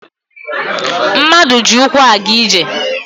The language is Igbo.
Mmadụ ji ụkwụ a ga-ije